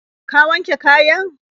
Ka wanke kayan?